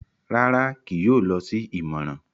Rárá, kìí yóò lọ si ìmọràn